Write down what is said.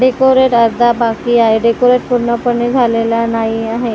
Decorate अर्धा बाकी आहे डेकोरेट पूर्णपणे झालेला नाही आहे .